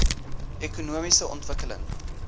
ekonomiese ontwikkeling